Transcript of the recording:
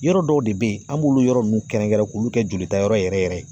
Yɔrɔ dɔw de bɛ ye an b'olu yɔrɔ ninnu kɛrɛnkɛrɛn k'u kɛ jolitayɔrɔ yɛrɛ yɛrɛ ye